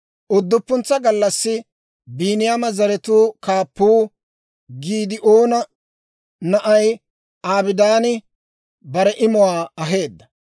Udduppuntsa gallassi Biiniyaama zaratuu kaappuu Giidi'oona na'ay Abidaani bare imuwaa aheedda.